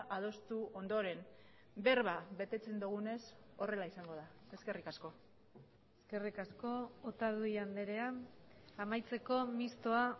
adostu ondoren berba betetzen dugunez horrela izango da eskerrik asko eskerrik asko otadui andrea amaitzeko mistoa